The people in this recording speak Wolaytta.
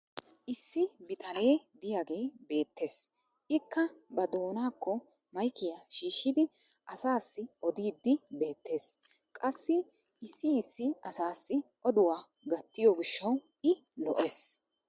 issi bitanee diyagee beetees. Ikka ba doonaakko maykkiya shiishidi asaassi odiiddi beetees. Qassi issi issi asaassi oduwaa gattiyo gishshawu i lo'ees.